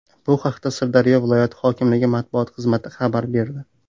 Bu haqda Sirdaryo viloyati hokimligi matbuot xizmati xabar berdi .